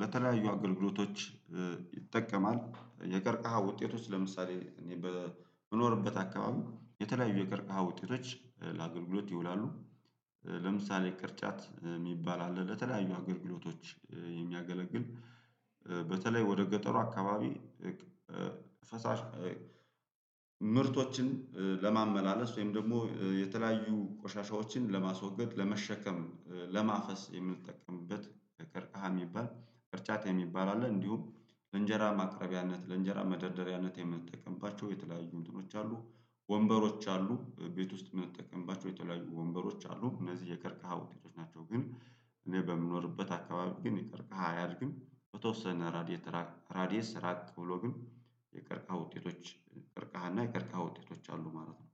ለተለያዩ አገልግሎቶች ይጠቀማል የቀርቀሃ ውጤቶች ለምሳሌ እኔ በምኖርበት አካባቢ የተለያዩ የቀርቃሃ ውጤቶች ለአገልግሎት ይውላሉ። ለምሳሌ ቅርጫት የሚባል አለ ለተለያዩ አገልግሎቶች የሚያገለግል በተለይ ወደ ገጠሩ አካባቢ ፈሳሽ ምርቶችን ለማመላለስ ወይም ደግሞ የተለያዩ ቆሻሻዎችን ለማስወገድ ለመሸከም ለማፈስ የምትጠቀምበት ቀርቃሃ የሚባል ቅርጫት የሚባል አለ። እንዲሁም ለእንጀራ ማቅረቢያነት ለእንጀራ መደርደሪያነት የምንጠቀምባቸው የተለያዩ እንጥኖች አሉ። ወንበሮች አሉ ቤት ውስጥ የምንጠቀምባቸው የተለያዩ ወንበሮች አሉ እነዚህ የቀርከሃ ዉጤቶቾ ናቸው። ግን እኔ በምኖርበት አካባቢ ግን የከርከሃ አያድግም። በተወሰነ ራዲየስ ራቅ ብሎ ግን የቀርቃ ውጤቶች ቀርቃህ እና የቀርቃ ውጤቶች አሉ ማለት ነው።